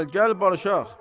Bura gəl, gəl barışaq!